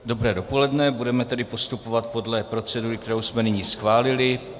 Dobré dopoledne, budeme tedy postupovat podle procedury, kterou jsme nyní schválili.